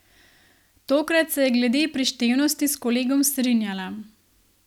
Tokrat se je glede prištevnosti s kolegom strinjala.